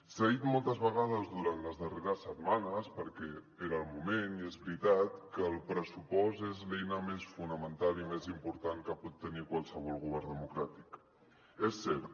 s’ha dit moltes vegades durant les darreres setmanes perquè era el moment i és veritat que el pressupost és l’eina més fonamental i més important que pot tenir qualsevol govern democràtic és cert